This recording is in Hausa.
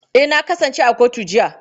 Eh, na kasance a kotu jiya.